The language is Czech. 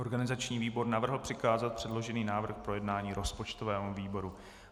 Organizační výbor navrhl přikázat předložený návrh k projednání rozpočtovému výboru.